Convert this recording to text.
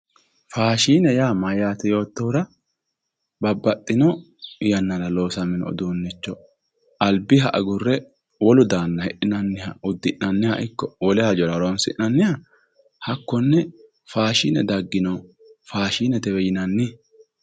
Faashine yaa mayate yoottohura babbaxino yannara loosamino uduunicho albiha agure wolu daanoha hidhinanniha uddi'nanniha ikko wole hajjora horonsi'nanniha hakkone faashine daggino faashinetewe yinnanni.